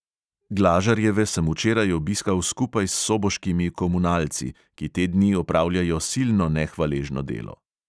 Glažarjeve sem včeraj obiskal skupaj s soboškimi komunalci, ki te dni opravljajo silno nehvaležno delo.